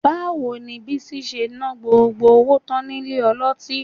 Báwo ni Bísí ṣe ná gbogbo owó tán nílé ọlọ́tí?